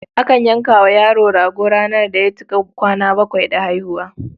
Akan yanka wa yaro rago ranar da ya cika kwana bakwai da haihuwa.